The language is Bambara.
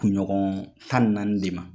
Kunɲɔgɔn tan ni naani de ma.